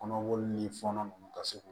Kɔnɔboli ni fɔnɔ ninnu ka se k'o